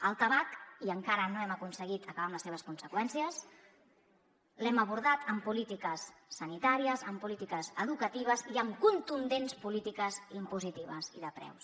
el tabac i encara no hem aconseguit acabar amb les seves conseqüències l’hem abordat amb polítiques sanitàries amb polítiques educatives i amb contundents polítiques impositives i de preus